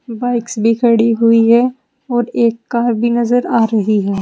Bikes भी खड़ी हुई है और एक कार भी नजर आ रही है।